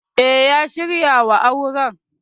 E, ya shirya wa auren.